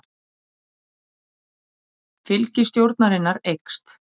Fylgi stjórnarinnar eykst